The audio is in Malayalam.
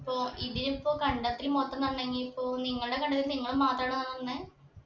അപ്പൊ ഇതിനിപ്പൊ കണ്ടത്തിൽ മൊത്തം നടണെങ്കി ഇപ്പൊ നിങ്ങളെ കണ്ടത്തിൽ നിങ്ങൾ മാത്രാണോ നടുന്നെ